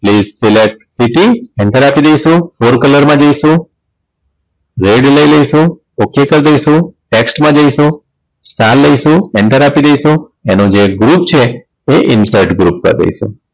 Please select city enter આપી દઈશું for colour માં જઈશું red લઈ લઈશું okay કર દઈશું tax માં જઈશું star લઈશું enter આપી દઈશું એનું જે group છે એ insert group કર દઈશું